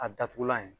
A datugulan ye